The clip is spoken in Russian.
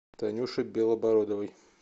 танюши белобородовой